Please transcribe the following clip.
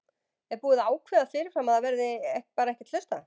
Er búið að ákveða það fyrirfram að það verði bara ekkert hlustað?